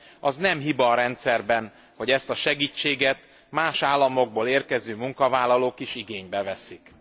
Az nem hiba a rendszerben, hogy ezt a segítséget más államokból érkező munkavállalók is igénybe veszik.